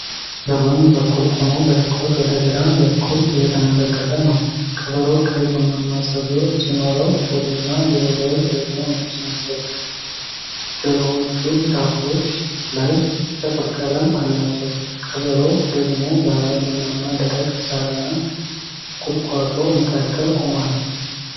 ) በጎን በኩል ቆሞ በትኩረት ወደ ግራ በኩል እየተመለከተ ነው። ቀበሮው ቀይ ቡናማ ፀጉር ሲኖረው፣ ሆዱና ጉሮሮው ደግሞ ነጭ ናቸው። ጆሮዎቹ ጫፎች ላይ ጥቁር ቀለም አላቸው፤ ቀበሮው ደግሞ ባለ ቡናማ ደረቅ ሳርና ቁጥቋጦ መካከል ቆሟል።